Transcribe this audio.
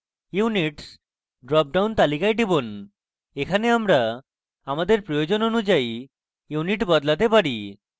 units drop down তালিকায় টিপুন এখানে আমরা আমাদের প্রয়োজন অনুযায়ী units বদলাতে পারি